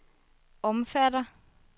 omfatter